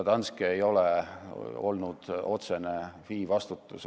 Danske ei ole olnud otsene meie FI vastutusala.